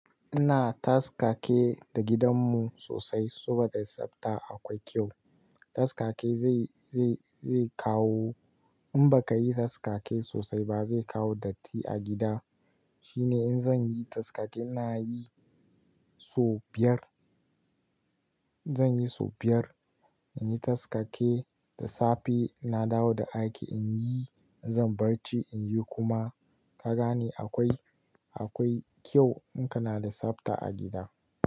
Ina taskake da gidanmu sosai saboda tsafta akwai kyau. Taskake zai, zai, zai kawo in baka yi taskake sosai ba zai kawo datti a gida. Shine in zan yi taskake na yi sau biyar. Zan yi sau biyar. In yi taskake da safe, na dawo da aiki in yi, zan barci in yi kuma ka gane akwai, akwai kyau in kana da tsafta a gida.